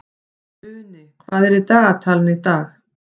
Uni, hvað er í dagatalinu í dag?